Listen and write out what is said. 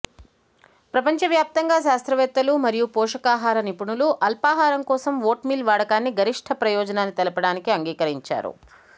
ప్రపంచ వ్యాప్తంగా శాస్త్రవేత్తలు మరియు పోషకాహార నిపుణులు అల్పాహారం కోసం వోట్మీల్ వాడకాన్ని గరిష్ట ప్రయోజనాన్ని తెలపడానికి అంగీకరించారు